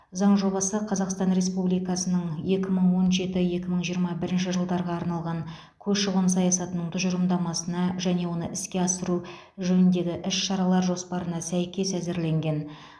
заң жобасы қазақстан республикасының екі мың он жеті екі мың жиырма бірінші жылдарға арналған көші қон саясатының тұжырымдамасына және оны іске асыру жөніндегі іс шаралар жоспарына сәйкес әзірленген